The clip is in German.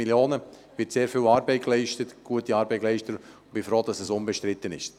Es wird sehr viel gute Arbeit geleistet, und ich bin froh, dass der Kredit unbestritten ist.